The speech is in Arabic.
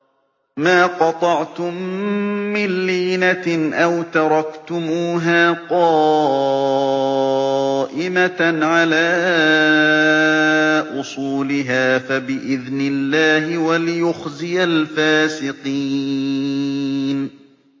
مَا قَطَعْتُم مِّن لِّينَةٍ أَوْ تَرَكْتُمُوهَا قَائِمَةً عَلَىٰ أُصُولِهَا فَبِإِذْنِ اللَّهِ وَلِيُخْزِيَ الْفَاسِقِينَ